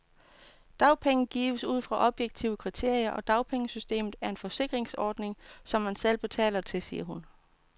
Dagpenge gives ud fra objektive kriterier, og dagpengesystemet er en forsikringsordning, som man selv betaler til, siger hun.